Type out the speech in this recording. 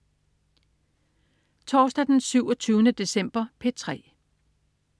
Torsdag den 27. december - P3: